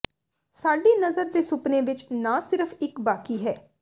ਸਾਡੀ ਨਜ਼ਰ ਦੇ ਸੁਪਨੇ ਵਿੱਚ ਨਾ ਸਿਰਫ ਇੱਕ ਬਾਕੀ ਹੈ